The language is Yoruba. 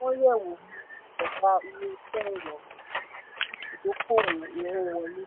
wọ́n yẹ̀ wò ni ìṣẹ̀dá ilé-iṣẹ́ ìrọ̀rùn ìdókòwó owó wọlé.